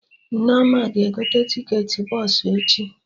Nneoma ga-egote ticketị bọsụ echi